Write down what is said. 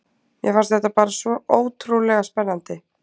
Mér fannst þetta bara svo ótrúlega spennandi.